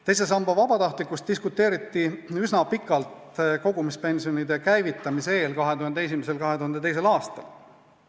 Teise samba vabatahtlikkuse üle diskuteeriti üsna pikalt kogumispensioni käivitamise eel, 2001. ja 2002. aastal.